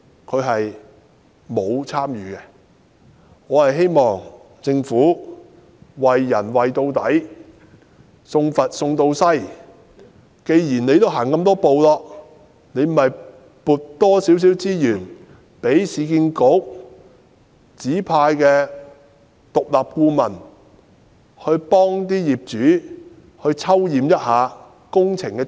我希望政府"為人為到底，送佛送到西"，既已走了這麼多步便增撥多一些資源，讓市建局指派的獨立顧問替業主抽驗一下工程質素。